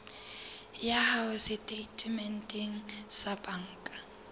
ya hao setatementeng sa banka